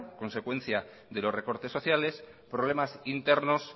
consecuencia de los recortes sociales problemas internos